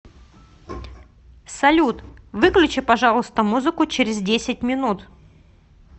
салют выключи пожалуйста музыку через десять минут